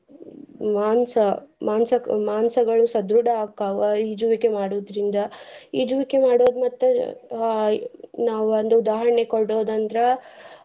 ಮಾಂಸ ಮಾಂಸ ಮಾಂಸಗಳು ಸದೃಡ ಆಕಾವ ಈಜುವಿಕೆ ಮಾಡೋದ್ರಿಂದ ಈಜುವಿಕೆ ಮಾಡೋದ್ ಮತ್ತ್ ಅಹ್ ನಾವ್ ಒಂದ್ ಉದಾಹರಣೆ ಕೊಡೋದ್ ಅಂದ್ರ.